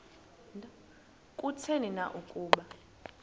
kutheni na ukuba